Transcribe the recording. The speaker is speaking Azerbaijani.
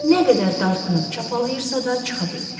Nə qədər dartınıb çapalıyırsa da çıxa bilmir.